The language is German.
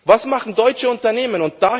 Was machen deutsche Unternehmen?